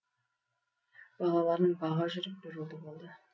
балаларын баға жүріп бір ұлды болды